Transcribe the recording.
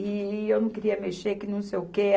E eu não queria mexer, que não sei o quê.